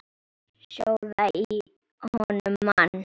Sjóða í honum mann!